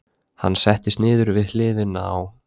Hann settist niður við hliðina á